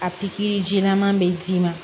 A pikiri jilaman be d'i ma